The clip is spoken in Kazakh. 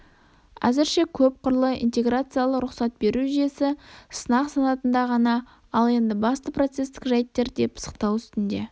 әзірше көпкырлы интеграциялы рұқсат беру жүйесі сынақ санатында ғана ал енді басты процесстік жәйттер де пысықталу үстінде